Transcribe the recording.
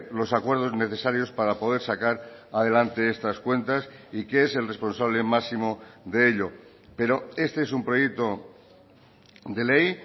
los acuerdos necesarios para poder sacar adelante estas cuentas y que es el responsable máximo de ello pero este es un proyecto de ley